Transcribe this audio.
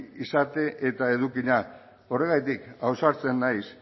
izate eta edukiak horregatik ausartzen naiz